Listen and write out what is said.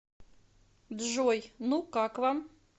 джой ну как вам